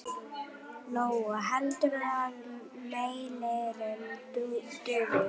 Lóa: Heldurðu að mælirinn dugi?